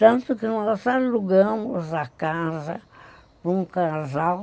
Tanto que nós alugamos a casa para um casal.